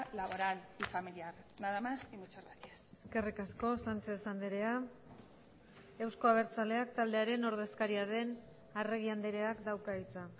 laboral y familiar nada más y muchas gracias eskerrik asko sánchez andrea euzko abertzaleak taldearen ordezkaria den arregi andreak dauka hitza